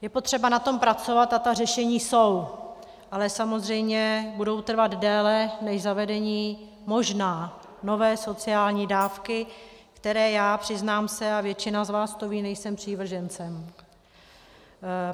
Je potřeba na tom pracovat a ta řešení jsou, ale samozřejmě budou trvat déle než zavedení, možná, nové sociální dávky, které já, přiznám se, a většina z vás to ví, nejsem přívržencem.